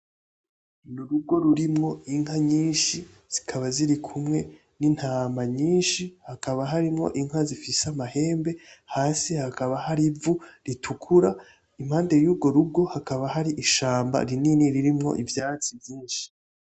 N'urugo rurimwo inka nyishi zikaba ziri kumwe n'intama nyishi hakaba harimwo inka zifise amahembe hasi hakaba hari ivu ritukura impande y'urwo rugo hakaba hari ishamba rinini ririmo iivyatsi vyishi.